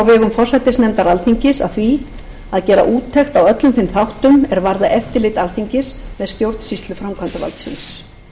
forsætisnefndar alþingis að því að gera úttekt á öllum þeim þáttum er varða eftirlit alþingis með stjórnsýslu framkvæmdarvaldsins ég vænti þess að sú nefnd